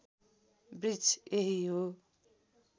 वृक्ष यही हो